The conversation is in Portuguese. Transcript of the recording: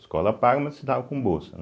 Escola paga, mas estudava com bolsa, né.